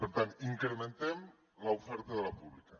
per tant incrementem l’oferta de la pública